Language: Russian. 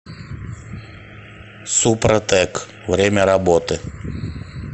супротэк время работы